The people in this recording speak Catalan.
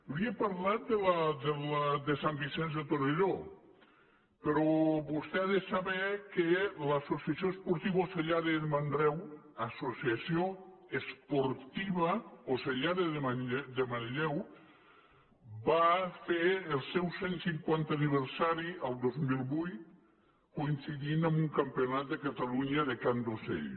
li he parlat de la de sant vicenç de torelló però vostè ha de saber que l’associació esportiva ocellaire de manlleu l’associació esportiva ocellaire de manlleu va fer el seu cent cinquantè aniversari el dos mil vuit que va coincidir amb un campionat de catalunya de cant d’ocell